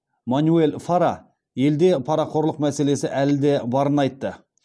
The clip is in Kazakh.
манюэль фара елде парақорлық мәселесі әлі де барын айтты